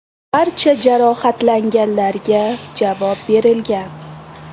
Barcha jarohatlanganlarga javob berilgan.